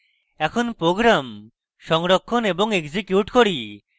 এখন program সংরক্ষণ এবং execute করি